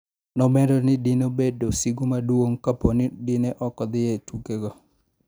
nomedoni dine obedo sigu maduong kaponi dine oko dhie e tuke go